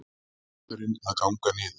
Hvellurinn að ganga niður